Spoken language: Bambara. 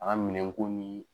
A ka minɛ komiii.